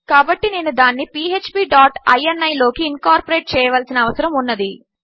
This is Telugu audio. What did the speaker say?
కాబట్టి నేను దానిని పీఎచ్పీ డాట్ ఇని లోకి ఇన్కార్పొరేట్ చేయవలసిన అవసరము ఉన్నది